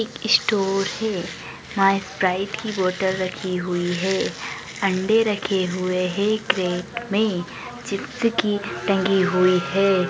एक स्टोर है यहाँ एक स्प्राइट की बॉटल रखी हुई है अंडे रखे हुए हैं क्रेट में चिप्स की टंगी हुई है।